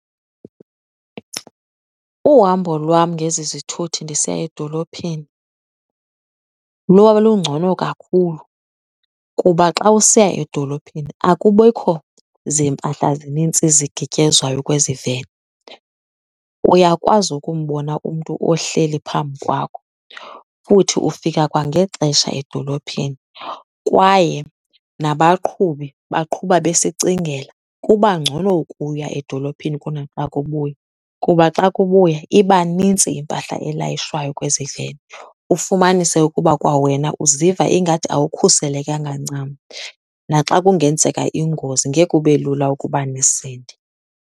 Uhambo lwam ngezi zithuthi ndisiya edolophini lwalungcono kakhulu kuba xa usiya edolophini akubikho zimpahla zinintsi zigityezwayo kwezi veni. Uyakwazi ukumbona umntu ohleli phambi kwakho futhi ufika kwangexesha edolophini kwaye nabaqhubi baqhuba besicingela. Kuba ngcono ukuya edolophini kunaxa kubuywa kuba xa kubuya iba nintsi impahla elayishwayo kwezi veni. Ufumanise ukuba kwawena uziva ingathi awukhuselekanga ncam, naxa kungenzeka ingozi ngeke kube lula ukuba nisinde.